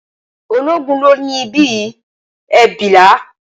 Ológun ló ní ibí yìí, e bilaa